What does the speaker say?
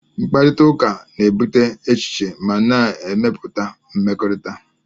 Mkparịta ụka na-ebute echiche ma na-emepụta mmekọrịta